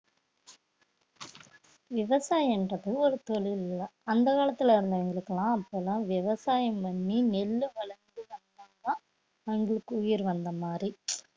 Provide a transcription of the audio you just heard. விவசாயம்ன்றது ஒரு தொழில்தான் அந்த காலத்துல இருந்தவங்களுக்கெல்லாம் அப்பதான் விவசாயம் பண்ணி நெல்லு வளர்த்து அவங்களுக்கு உயிர் வந்த மாதிரி